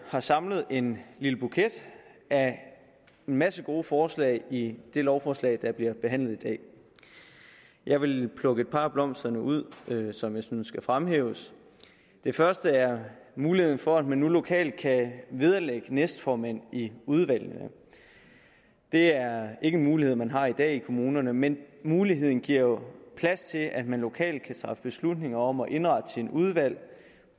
har samlet en lille buket af en masse gode forslag i det lovforslag der bliver behandlet i dag jeg vil plukke et par af blomsterne ud som jeg synes skal fremhæves den første er muligheden for at man nu lokalt kan vederlægge næstformænd i udvalgene det er ikke en mulighed man har i dag i kommunerne men muligheden giver jo plads til at man lokalt kan træffe beslutning om at indrette sine udvalg